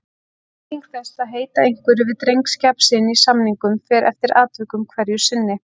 Þýðing þess að heita einhverju við drengskap sinn í samningum fer eftir atvikum hverju sinni.